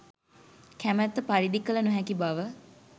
කැමැත්ත පරිදි කළ නොහැකි බව